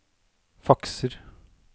fakser